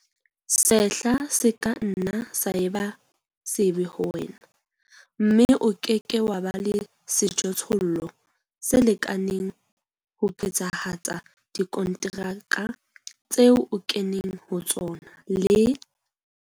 Sehla se ka nna sa eba sebe ho wena, mme o ke ke wa ba le sejothollo se lekaneng ho phethahatsa dikonteraka tseo o keneng ho tsona le.